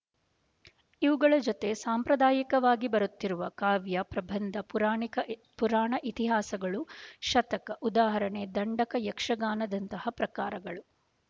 ಇವುಗಳ ಜೊತೆ ಸಾಂಪ್ರದಾಯಿಕವಾಗಿ ಬರುತ್ತಿರುವ ಕಾವ್ಯ ಪ್ರಬಂಧ ಪುರಾಣಿಕ ಪುರಾಣ ಇತಿಹಾಸಗಳು ಶತಕ ಉದಾಹರಣೆ ದಂಡಕ ಯಕ್ಷಗಾನದಂತಹ ಪ್ರಕಾರಗಳು